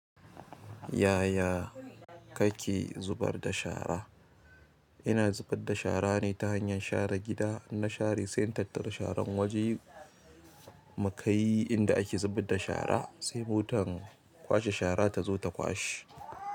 Yaya kake zubar da shara? Ina zubar da shara ne ta hanyar share gida, na share sai na tattara sharan wajen nakai inda ake zubar da shara sai motan kwashe shara tazo ta kwashe.